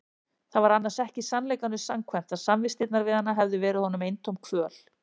Það var annars ekki sannleikanum samkvæmt að samvistirnar við hana hefðu verið honum eintóm kvöl.